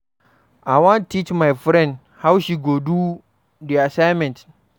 I wan teach my friend how she go do di assignment.